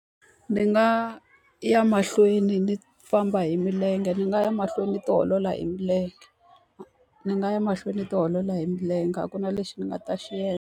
Ni nga ya mahlweni ni famba hi milenge, ni nga ya mahlweni ni tiolola hi milenge, ni nga ya mahlweni tiolola hi milenge a ku na lexi ni nga ta xi endla.